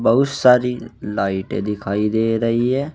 बहुत सारी लाइटें दिखाई दे रही हैं।